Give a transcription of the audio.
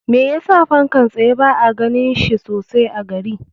Me yasa fankan tsaye ba a ganin shi sosai a gari?